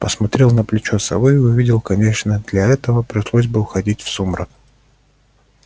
посмотрел на плечо совы и увидел конечно для этого пришлось бы уходить в сумрак